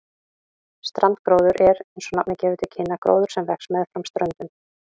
Strandgróður er, eins og nafnið gefur til kynna, gróður sem vex meðfram ströndum.